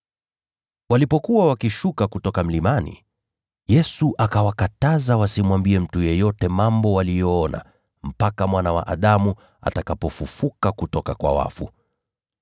Walipokuwa wakishuka kutoka mlimani, Yesu akawakataza wasimwambie mtu yeyote mambo waliyoona, mpaka Mwana wa Adamu atakapokuwa amefufuka kutoka kwa wafu.